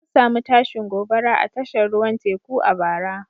An samu tashin gobara a tashar ruwan teku a bara.